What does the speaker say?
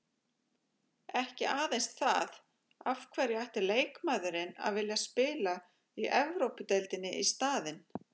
Ekki aðeins það, af hverju ætti leikmaðurinn að vilja spila í Evrópudeildinni í staðinn?